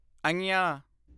ਞੰਞਾ